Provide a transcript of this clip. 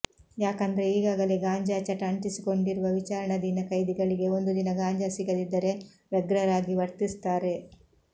ಯಾಕಂದ್ರೆ ಈಗಾಗಲೇ ಗಾಂಜಾ ಚಟ ಅಂಟಿಸಿಕೊಂಡಿರುವ ವಿಚಾರಣಾಧೀನ ಖೈದಿಗಳಿಗೆ ಒಂದು ದಿನ ಗಾಂಜಾ ಸಿಗದಿದ್ದರೆ ವ್ಯಗ್ರರಾಗಿ ವರ್ತಿಸುತ್ತಾರೆ